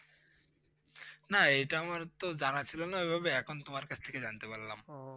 না এটা তো আমার জানা ছিল না ওই ভাবে, এখন তোমার থেকে জানতে পারলাম।